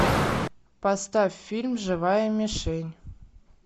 поставь фильм живая мишень